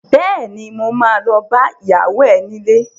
Bẹ́ẹ̀ni, mo ma lọ bá ìyàwó ẹ nílé